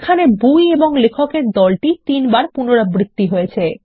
এখানে বই এবং লেখক এর দলটি তিনবার পুনরাবৃত্তি হয়েছে